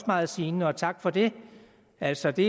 meget sigende og tak for det altså det